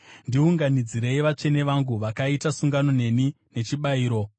“Ndiunganidzirei vatsvene vangu, vakaita sungano neni nechibayiro.”